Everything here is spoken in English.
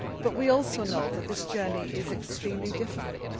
We also know that this journey is extremely difficult.